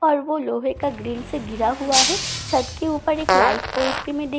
और वो लोहे का ग्रिल से घिरा हुआ है छत के ऊपर एक लाइट पोस्ट भी मैं देख पा रही --